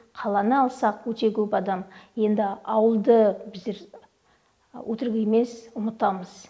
қаланы алсақ өте көп адам енді ауылды біздер өтірік емес ұмытамыз